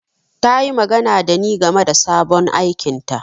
Ta yi magana da ni game da sabon aikinta.